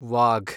Wagh